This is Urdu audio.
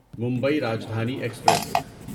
ممبئی راجدھانی ایکسپریس